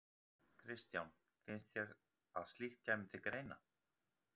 Kristján: Finnst þér að slíkt kæmi til greina?